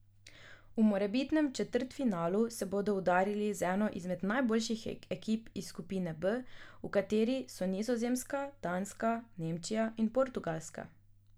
V morebitnem četrtfinalu se bodo udarili z eno izmed najboljših ekip iz skupine B, v kateri so Nizozemska, Danska, Nemčija in Portugalska.